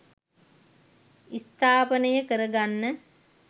ස්ථාපානය කරගන්න.